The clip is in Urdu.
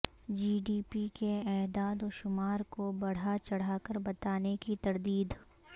جی ڈی پی کے اعداد و شمار کو بڑھاچڑھاکر بتانے کی تردید